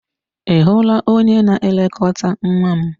Ị hụla onye na-elekọta nwa m?